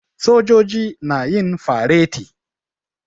Sojoji na yin fareti.